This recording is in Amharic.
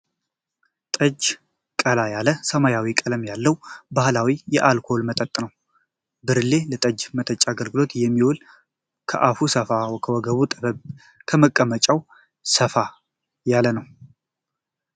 ጠጅ ቀላ ያለ ሰማያዊ ቀለም ያለው ባህላዊ የአልኮል መጠጥ ነው። ብርሌ ለጠጅ መጠጫ አገልግሎት የሚውል ከአፉ ሰፉ ከወገቡ ጠበብ ከመቀመጫው ሰፋ ያለ ነው።